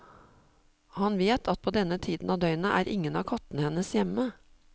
Han vet at på denne tiden av døgnet er ingen av kattene hennes hjemme.